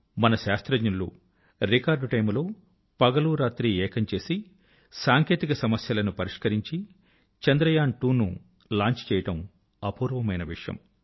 మన శాస్త్రజ్ఞులు record time లో పగలు రాత్రి ఏకం చేసి సాంకేతిక సమస్యలను పరిష్కరించి చంద్రయాన్2 ను లాంచ్ చేయడం అపూర్వమైన విషయం